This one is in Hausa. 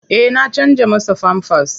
Eh na canja masa famfas.